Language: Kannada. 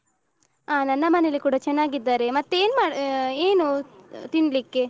ಹ ನನ್ನ ಮನೇಲಿ ಕೂಡ ಚನ್ನಾಗಿದ್ದಾರೆ ಮತ್ತೆನು ಏನು ತಿನ್ಲಿಕ್ಕೆ?